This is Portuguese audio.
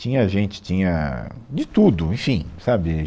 Tinha gente, tinha de tudo, enfim, sabe?